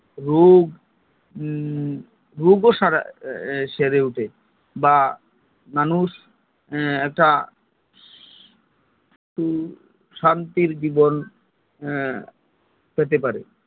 রোগ রোগ ও সেরে উঠে বা মানুষ একটা শান্তির জীবন পেতে পারে